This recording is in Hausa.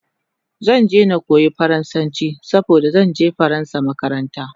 Zan je na koya faransanchi saboda zanje faransa makaranta